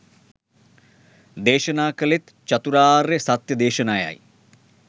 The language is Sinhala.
දේශනා කළේත් චතුරාර්ය සත්‍ය දේශනයයි.